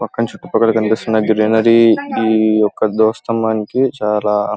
పక్కన కనిపిస్తున్న ఈ గ్రీనరీ ఈ యొక్క ద్వజ స్తంభానికి చాలా.